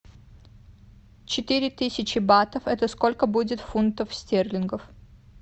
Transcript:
четыре тысячи батов это сколько будет фунтов стерлингов